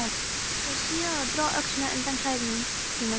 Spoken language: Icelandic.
Sagði síðan og dró öxina undan klæðum sínum: